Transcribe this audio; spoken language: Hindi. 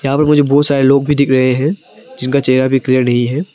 मुझे बहुत सारे लोग भी दिख रहे हैं जिनका चेहरा भी क्लियर नहीं है।